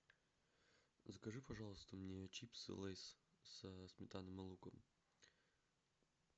закажи пожалуйста мне чипсы лейс со сметаной и луком